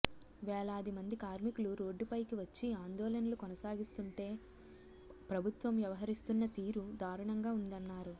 వేలాది మంది కార్మికులు రోడ్డుపైకి వచ్చి ఆందోళనలు కొనసాగిస్తుంటే ప్రభుత్వం వ్యవహరిస్తున్న తీరు దారుణంగా ఉందన్నారు